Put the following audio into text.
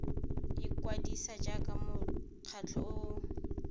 ikwadisa jaaka mokgatlho o o